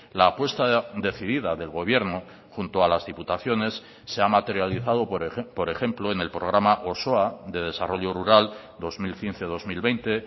la apuesta decidida del gobierno junto a las diputaciones se ha materializado por ejemplo en el programa osoa de desarrollo rural dos mil quince dos mil veinte